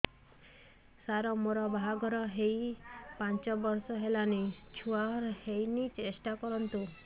ସାର ମୋର ବାହାଘର ହେଇ ପାଞ୍ଚ ବର୍ଷ ହେଲାନି ଛୁଆ ହେଇନି ଟେଷ୍ଟ କରନ୍ତୁ